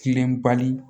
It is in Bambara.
Kilenbali